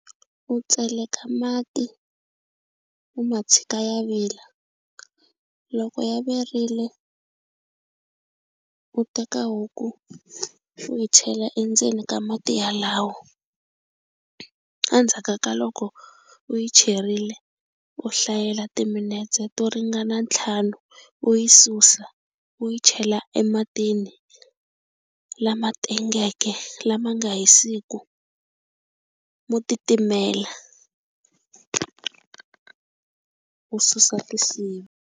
U tseleka mati u ma tshika ya vila loko ya virile u teka huku u yi chela endzeni ka mati yalawo endzhaka ka loko u yi cherile u hlayela timinetse to ringana ntlhanu u yi susa u yi chela ematini lama tengeke lama nga hisiku mo titimela u susa tisiva.